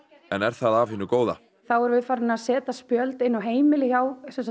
en er það af hinu góða þá erum við farin að setja spjöld inn á heimili hjá